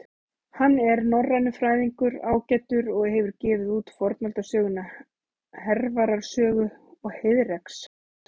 Hann er norrænufræðingur ágætur og hefur gefið út fornaldarsöguna Hervarar sögu og Heiðreks.